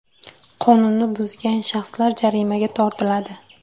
Qonunni buzgan shaxslar jarimaga tortiladi.